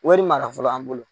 Wari mara fɔlɔ an bolo.